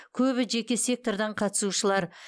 көбі жеке сектордан қатысушылар